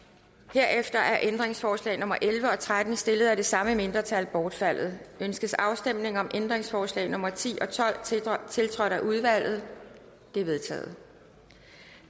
herefter er ændringsforslag nummer elleve og tretten stillet af det samme mindretal bortfaldet ønskes afstemning om ændringsforslag nummer ti og tolv tiltrådt tiltrådt af udvalget de er vedtaget